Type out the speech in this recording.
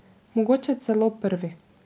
Mogoče celo prvi.